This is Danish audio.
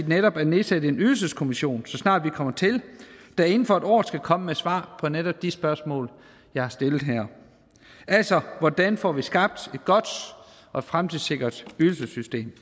netop at nedsætte en ydelseskommission så snart vi kommer til der ingen for alvor skal komme med svar på netop de spørgsmål jeg har stillet her altså hvordan får vi skabt et godt og fremtidssikret ydelsessystem